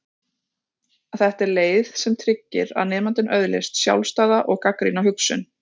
Þetta er leið sem tryggir að nemandinn öðlist sjálfstæða og gagnrýna hugsun.